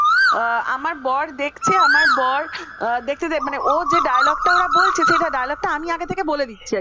এ আমার বর দেখছে আমার বর দেখে যে ও যে dialogue টা ওরা বলছে সে dialogue টা আমি আগে থেকে বলে দিচ্ছি